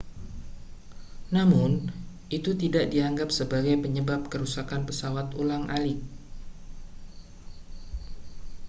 namun itu tidak dianggap sebagai penyebab kerusakan pesawat ulang-alik